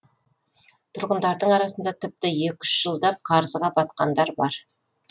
тұрғындардың арасында тіпті екі үш жылдап қарызға батқандар бар